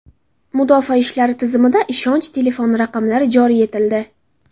Mudofaa ishlari tizimida ishonch telefon raqamlari joriy etildi.